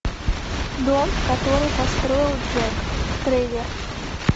дом который построил джек трейлер